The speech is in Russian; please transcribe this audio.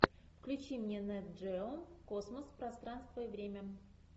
включи мне нет джео космос пространство и время